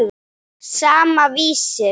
Sama, Vísir.